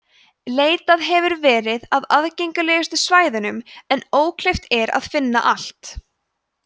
leitað hefur verið á aðgengilegustu svæðunum en ókleift er að finna allt